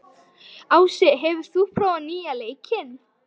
Ási, hefur þú prófað nýja leikinn?